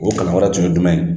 O kalan wɛrɛ tun ye jumɛn ye?